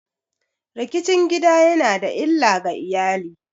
Rikicin gida ya na da illa ga iyali.